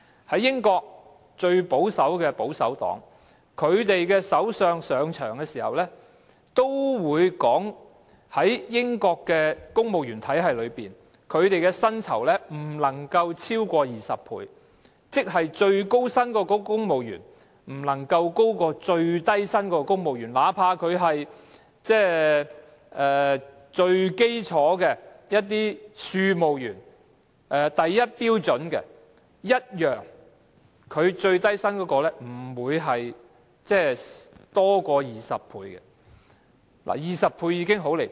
在英國，最保守的保守黨的首相上場時，也說到在英國的公務員體系中，薪酬的差距不能夠超過20倍，即最高薪的公務員的薪酬不能夠高於最低薪公務員薪酬的20倍，哪怕是與最基礎的庶務員相比，最高薪的公務員的薪酬不會多於最低薪公務員的20倍 ，20 倍其實已經十分離譜。